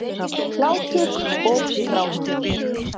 Hlátur og grátur.